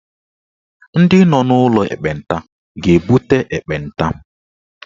Ndị nọ n'ụlọ ekpenta ga-ebute ekpenta.